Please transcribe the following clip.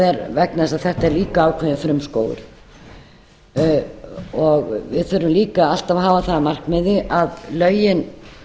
er vegna þess að þetta er líka ákveðinn frumskógur við þurfum líka alltaf að hafa það að markmiði að lögin